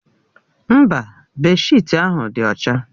Mba, bèdshịtị ahụ dị ọcha.